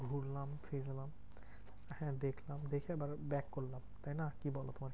ঘুরলাম ফিরলাম হ্যাঁ দেখলাম দেখে এবার back করলাম, তাইনা কি বলো?